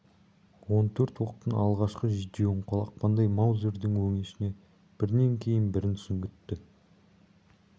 он төрт оқтың алғашқы жетеуін қолақпандай маузердің өңешіне бірінен кейін бірін сүңгітті